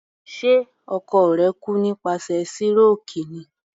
Ṣe ọkọ rẹ̀ kú nípasẹ̀ síròkì ni?